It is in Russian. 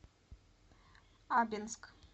абинск